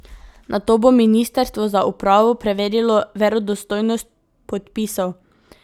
Nato bo ministrstvo za upravo preverilo verodostojnost podpisov.